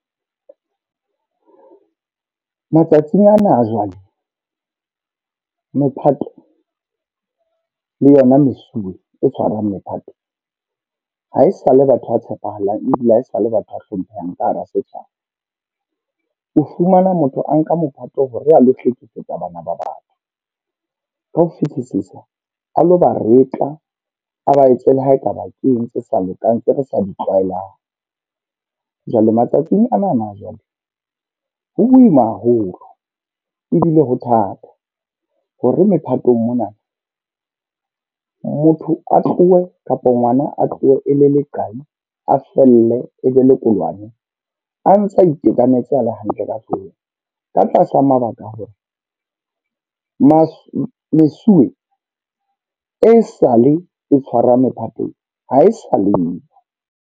Matsatsing ana a jwale mephato le yona mesuwe e tshwarang mephato, haesale batho ba tshepahalang. Ebile haesale batho a hlomphehang ka hara setjhaba. O fumana motho a nka mophato hore a lo hlekefetsa bana ba batho. Ka ho fitisisa a lo ba retla, a ba etse lehaekaba ke eng tse sa lokang tse re sa ditlwaehelang. Jwale matsatsing anana, jwale ho boima haholo ebile ho thata. Ho re mephatong mona, motho a tlohe kapo ngwana a tlohe e le le qai, a felle e be le koloane, a ntsa itekanetse a le hantle ka hlohong. Ka tlasa mabaka a hore masu mesuwe e sale e tshwara mephatong ha e sa leyo.